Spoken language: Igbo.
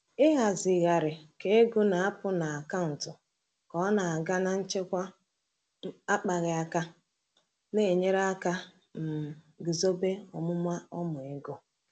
Ịhazigharị ka ego na-apụ n’akaụntụ ka ọ na-aga na nchekwa akpaghị aka na-enyere aka um guzobe omume ọma ego.